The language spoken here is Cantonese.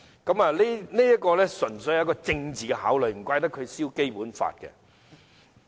他這樣做，純粹出於政治考慮，難怪他焚燒《基本法》。